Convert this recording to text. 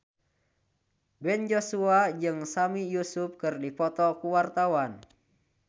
Ben Joshua jeung Sami Yusuf keur dipoto ku wartawan